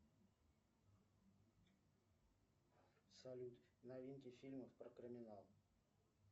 салют новинки фильмов про криминал